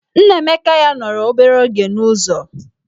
Nnaemeka ya nọrọ obere oge n'ụzọ.